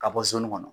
Ka bɔ kɔnɔ